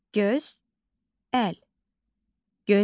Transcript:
Gözəl.